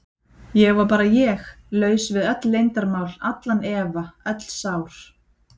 Ég var bara ég, laus við öll leyndarmál, allan efa, öll sár.